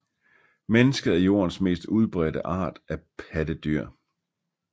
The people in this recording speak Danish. Mennesket er Jordens mest udbredte art af pattedyr